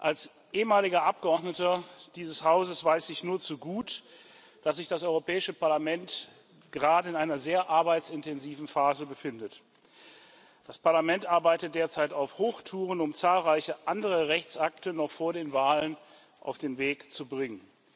Als ehemaliger Abgeordneter dieses Hauses weiß ich nur zu gut, dass sich das Europäische Parlament gerade in einer sehr arbeitsintensiven Phase befindet. Das Parlament arbeitet derzeit auf Hochtouren, um zahlreiche andere Rechtsakte noch vor den Wahlen auf den Weg zu bringen.